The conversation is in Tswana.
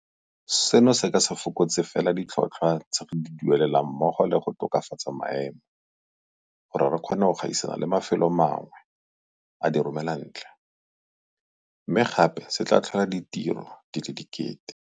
Seno se ka se fokotse fela ditlhotlhwa tse re di duelelang mmogo le go tokafatsa maemo gore re kgone go gaisana le mafelo a mangwe a diromelantle, mme gape se tla tlhola ditiro di le diketekete.